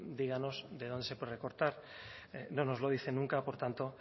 díganos de dónde se puede recortar no nos lo dice nunca por tanto